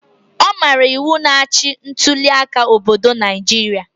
Ọ maara iwu na-achị ntuliaka obodo Naijiria